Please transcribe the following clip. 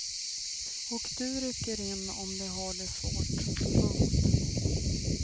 Och du rycker in om de har det svårt. punkt